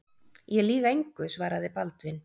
Ég lýg engu, svaraði Baldvin.